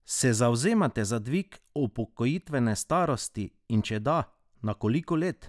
Se zavzemate za dvig upokojitvene starosti in če da, na koliko let?